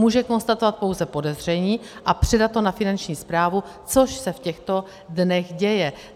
Může konstatovat pouze podezření a předat to na Finanční správu, což se v těchto dnech děje.